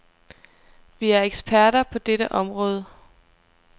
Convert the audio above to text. Vi er eksperter på dette område.